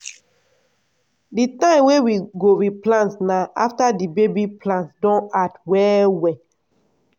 di time wey we go replant na after the baby plants don hard well well.